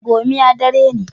gomiya dari ne